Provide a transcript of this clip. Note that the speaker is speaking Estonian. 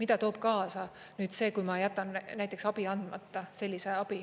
mida toob kaasa see, kui ma jätan näiteks abi andmata, sellise abi.